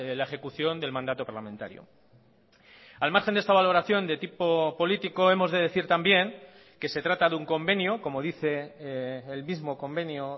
la ejecución del mandato parlamentario al margen de esta valoración de tipo político hemos de decir también que se trata de un convenio como dice el mismo convenio